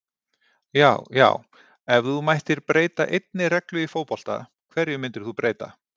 Já já Ef þú mættir breyta einni reglu í fótbolta, hverju myndir þú breyta?